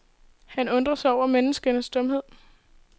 Han undrer sig over menneskenes dumhed.